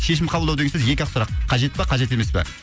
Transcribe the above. шешім қабылдау деген сөз екі ақ сұрақ қажет па қажет емес па